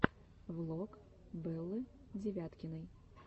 влог беллы девяткиной